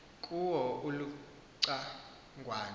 kuwo uluca ngwana